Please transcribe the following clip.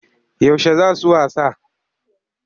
Yaushe za su wasa?